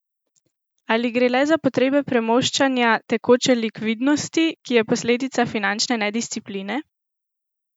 Ali gre le za potrebe premoščanja tekoče likvidnosti, ki je posledica finančne nediscipline?